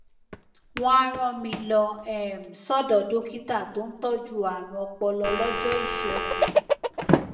wọn á rán mi lọ um sọdọ dókítà tó ń tọjú ààrùn ọpọlọ lọjọ ìṣẹgun